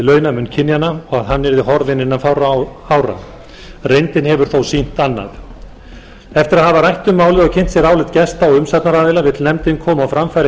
launamun kynjanna og að hann yrði horfinn innan fárra ára reyndin hefur þó sýnt annað eftir að hafa rætt um málið og kynnt sér álit gesta og umsagnaraðila vill nefndin koma á framfæri